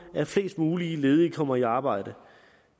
at flest muligt ledige kommer i arbejde